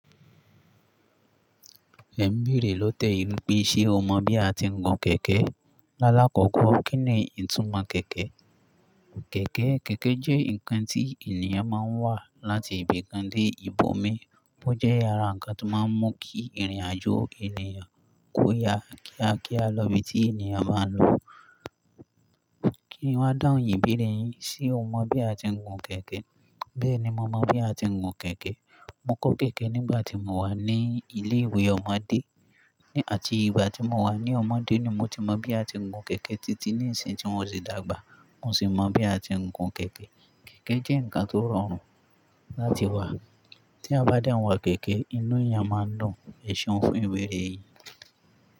Ẹ̀n beerẹ ló tẹ yi nipé, ṣé o mọ̀ bí a ti ń gun kẹ̀kẹ́ e? Lálàkọ́kọ́, kín ni ìtumọ̀ kẹ̀kẹ́? Kẹ̀kẹ́, kẹ̀kẹ́ jẹ́ ǹkan tí ènìyàn máa ń wà láti ibì kan dé ibòmín. Ó jẹ́ àrá ǹkan tó máa ń mú kí ìrìnàjò ènìyàn kó yá kía kía lọ bití èniyan bá ń lọ. Kí n wá dáhùn ìbéèrè yín. Ṣé o mọ̀ bí a ti ń gun kẹ̀kẹ́? Bẹ́ẹ̀ni mo mọ̀ bí a ti ń gun kẹ̀kẹ́. Mo kọ́ kẹ̀kẹ́ nígbà tí mo wà ní ilé ìwé ọmọdé, hin àti ìgbà tí mo wà ní ọmọdé ni mo ti mọ̀ bí a ti ń gun kẹ̀kẹ́ títí ní ìsìn tí wọn sì dàgbà, mo sì mọ̀ bí a ti ń gun kẹ̀kẹ́. Kẹ̀kẹ́ jẹ́ ǹkan tó rọrùn láti wà. Tí eyan bá den wa kẹ̀kẹ́, inú eyàn máa ń dùn. Ẹ̀ṣeun fún ìbéèrè e yín.